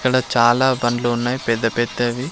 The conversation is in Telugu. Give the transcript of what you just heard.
ఇక్కడ చాలా బండ్లు ఉన్నాయ్ పెద్ద పెద్ద వి.